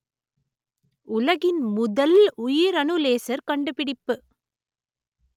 உலகின் முதல் உயிரணு லேசர் கண்டுபிடிப்பு